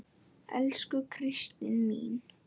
Elsku Kristín mín.